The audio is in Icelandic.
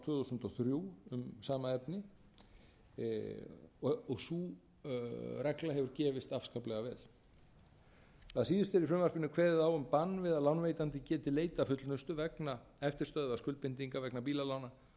þúsund og þrjú um sama efni sú regla hefur gefist afskaplega vel að síðustu er í frumvarpinu kveðið á bann við að lánveitandi geti leitað fullnustu vegna eftirstöðva skuldbindinga vegna bílalána